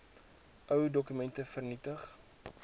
ou dokumente vernietig